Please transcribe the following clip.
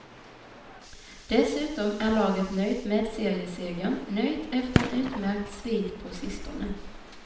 Dessutom är laget nöjt med seriesegern, nöjt efter en utmärkt svit på sistone.